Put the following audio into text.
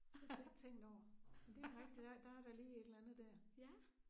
Det havde jeg slet ikke tænkt over. Men det rigtigt der der er da lige et eller andet der